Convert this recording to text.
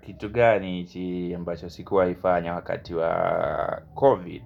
Kitu gani ambacho sikuwa hifanya wakati wa COVID.